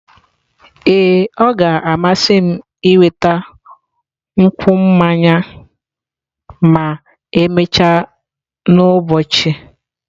Ee, ọ ga-amasị m ịnweta nkwụ mmanya ma emechaa n'ụbọchị.